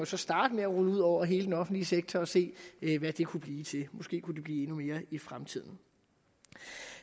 så starte med at rulle ud over hele den offentlige sektor og se hvad det kunne blive til måske kunne det blive endnu mere i fremtiden